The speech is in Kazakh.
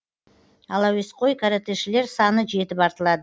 ал әуесқой каратэшілер саны жетіп артылады